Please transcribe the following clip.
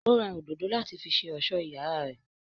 Ó ra òdòdó láti fi ṣe ọ̀sọ́ iyàrá rè.